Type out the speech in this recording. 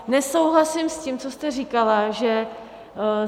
Nesouhlasím s tím, co jste říkala, že...